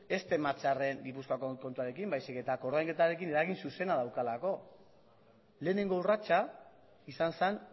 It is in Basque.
ez tematzearren gipuzkoako kontuarekin baizik eta koordainketarekin eragin zuzena daukalako lehenengo urratsa izan zen